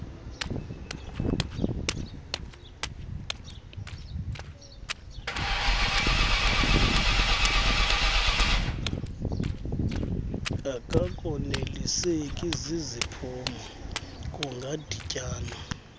akakoneliseki ziziphumo kungadityanwa